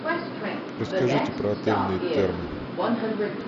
расскажите про отельные термы